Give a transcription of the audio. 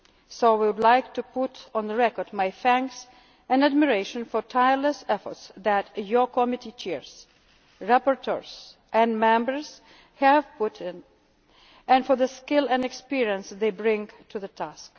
on any individual. So I would like to put on record my thanks and admiration for the tireless efforts that your committee chairs, rapporteurs and members have put in, and for the skill and experience they bring